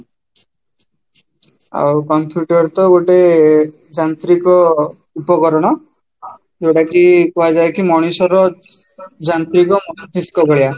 ଆଉ computer ତ ଗୋଟେ ଯାନ୍ତ୍ରିକ ଉପକରଣ ଯୋଉଟା କୁହା ଯାଏକି ମଣିଷର ଯାନ୍ତ୍ରିକ ମସ୍ତିସ୍କ ଭଳିଆ